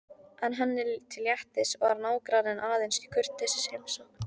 En henni til léttis var nágranninn aðeins í kurteisisheimsókn.